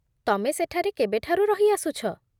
ତମେ ସେଠାରେ କେବେଠାରୁ ରହିଆସୁଛ?